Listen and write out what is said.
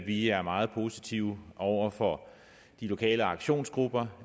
vi er meget positive over for de lokale aktionsgrupper